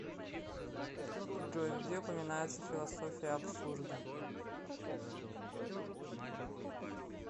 джой где упоминается философия абсурда